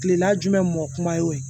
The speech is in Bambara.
Kilela jumɛn mɔ kuma ye o ye